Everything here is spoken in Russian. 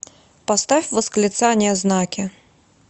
поставь восклицания знаки